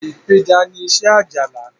ipeja ní iṣé Ajala.